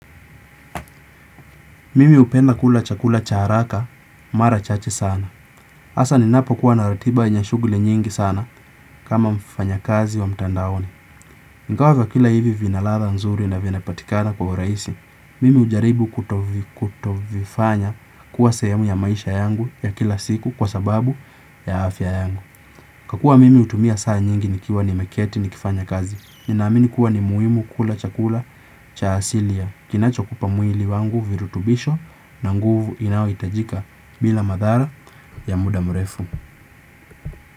Mimi upenda kula chakula cha haraka mara chache sana. Asa ninapo kuwa naratiba yenye shugli nyingi sana kama mfanya kazi wa mtandaoni. Nkawa vyakula hivi vinaladha nzuri na vinapatikana kwa uraisi. Mimi ujaribu kutovifanya kuwa sehemu ya maisha yangu ya kila siku kwa sababu ya afya yangu. Kwa kuwa mimi utumia saa nyingi nikiwa nimeketi ni kifanya kazi. Ninaamini kuwa ni muhimu kula chakula cha asilia kinacho kupa mwili wangu virutubisho na nguvu inao itajika bila madhara ya muda murefu.